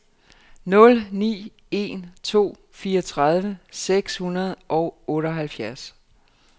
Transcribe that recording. nul ni en to fireogtredive seks hundrede og otteoghalvfjerds